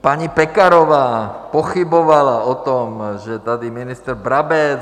Paní Pekarová pochybovala o tom, že tady ministr Brabec...